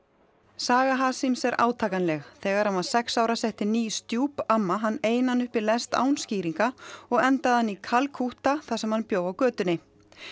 saga Hasims er átakanleg þegar hann var sex ára setti ný stjúp amma hann einan upp í lest án skýringa og endaði hann í Kalkútta þar sem hann bjó á götunni